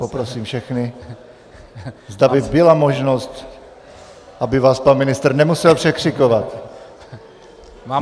Poprosím všechny, zda by byla možnost, aby vás pan ministr nemusel překřikovat.